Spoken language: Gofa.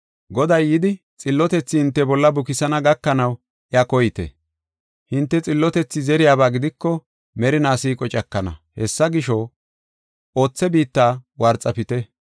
Goday yidi xillotethi hinte bolla bukisana gakanaw iya koyite. Hinte xillotethi zeriyaba gidiko merina siiqo cakana. Hessa gisho, othe biitta worxafite.